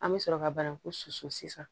An bɛ sɔrɔ ka bananku susu sisan